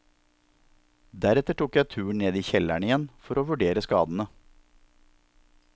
Deretter tok jeg turen ned i kjelleren igjen, for å vurdere skadene.